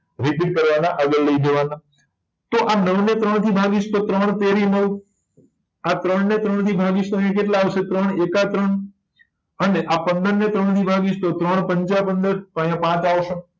આગળ લઇ જવા ના તો આ નવ ને ત્રણ થી ભાગીશ તો ત્રણ તેરી નવ આ ત્રણ ને ત્રણ થી ભાગીસ તો ત્રણ એકા ત્રણ અને આ પંદર ને ત્રણ થી ભાગીસ તો ત્રણ પંચા પંદર તો અહિયાં પાંચ આવશે